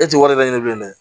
E tɛ wari laɲini bilen dɛ